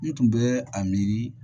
N tun bɛ a miiri